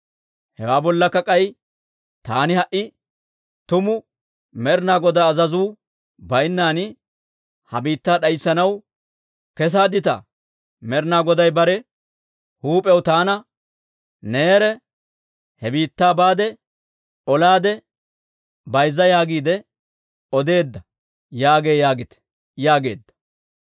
Hewaa bollakka k'ay, taani ha"i tumu Med'ina Godaa azazuu baynnan ha biittaa d'ayssanaw kessaaditaa? Med'ina Goday bare huup'iyaw taana, neerekka, he biittaa baade, olaade bayzza yaagiide odeedda yaagee yaagite» yaageedda.